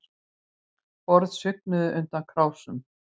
Borð svignuðu undan krásum